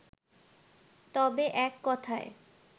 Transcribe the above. তবে এক কথায়